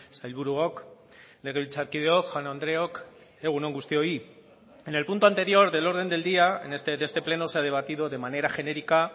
sailburuok legebiltzarkideok jaun andreok egun on guztioi en el punto anterior del orden del día de este pleno se ha debatido de manera genérica